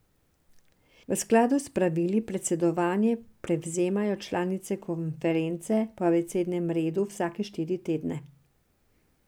V skladu s pravili predsedovanje prevzamejo članice konference po abecednem redu vsake štiri tedne.